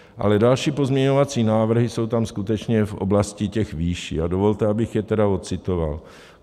Ale další pozměňovací návrhy jsou tam skutečně v oblasti těch výší a dovolte, abych je tedy odcitoval.